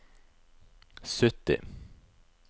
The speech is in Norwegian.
sytti